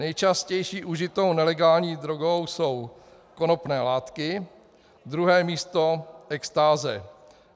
Nejčastější užitou nelegální drogou jsou konopné látky, druhé místo extáze.